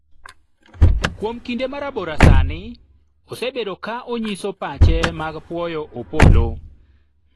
kuom kinde marabora sani osebedo ka onyiso pache mag pwoyo Opollo